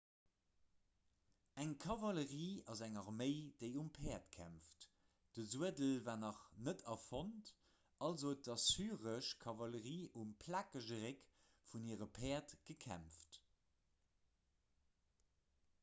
eng kavallerie ass eng arméi déi um päerd kämpft de suedel war nach net erfonnt also huet d'assyresch kavallerie um plakege réck vun hire päerd gekämpft